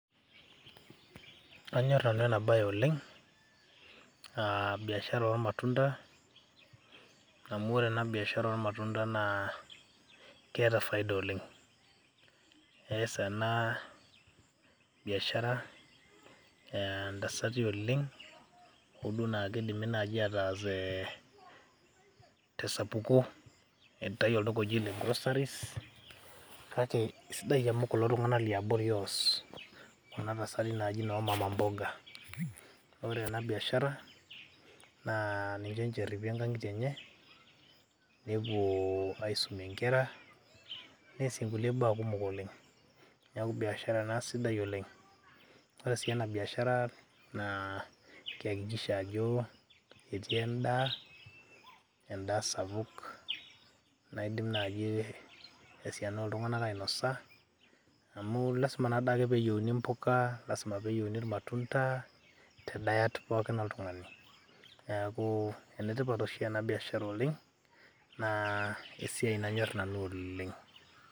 kanyorr nanu ena baye oleng amu uh, biashara ormatunda amu ore ena biashara ormatunda naa keeta faida oleng ees ena biashara eh, ntasati oleng hoduo naa kidimi naaji ataas eh, tesapuko aitayu olduka oji ole groceries kake isidai amu kulo tung'anak liabori oos kuna tasati naji noo mama mboga ore ena biashara naa ninche inje erripie inkang'itie enye nepuo aisumie inkera neesie nkulie baa kumok oleng niaku biashara ena sidai oleng ore sii ena biashara naa keyakikisha ajo etii endaa, endaa sapuk naidim naji esiana oltung'anak ainosa amu lasima nadake peyieuni impuka lasima peyieuni irmatunda te diet pookin oltung'ani neeku enetipat oshi ena biashara oleng naa esiai nanyorr nanu oleng.